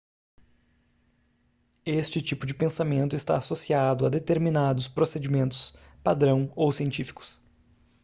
esse tipo de pensamento está associado a determinados procedimentos padrão ou científicos